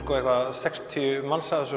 sextíu manns að þessu